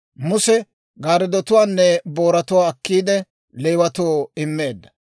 Muse gaaretuwaanne booratuwaa akkiide, Leewatoo immeedda.